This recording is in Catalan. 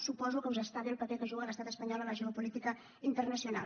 suposo que us està bé el paper que juga l’estat espanyol a la geopolítica internacional